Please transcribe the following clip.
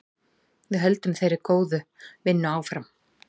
Við höldum þeirri góðu vinnu áfram.